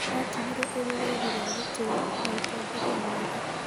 Yatigirwo ĩrĩ rũri rwa gĩtĩo na ũtongoria mwega.